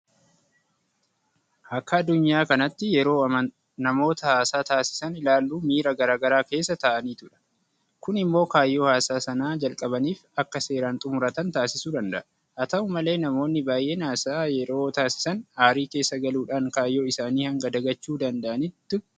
Akka addunyaa kanaatti yeroo namoota haasaa taasisan ilaallu miira garaa garaa keessa ta'aniitudha. Kun immoo kaayyoo haasaa sana jalqabaniif akka seeraan xummuratan taasisuu danda'a. Haata'u malee namoonni baay'een haasaa yeroo taasisan aarii keessa galuudhaan kaayyoo isaanii hanga dagachuu danda'anitti ga'u.